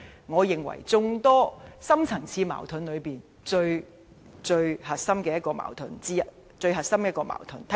我認為這範疇是眾多深層次矛盾中，最核心的矛盾。